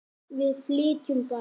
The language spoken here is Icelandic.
Við flytjum bara!